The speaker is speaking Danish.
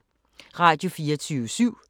Radio24syv